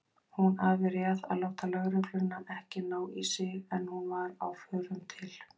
Hún afréð að láta lögregluna ekki ná í sig en hún var á förum til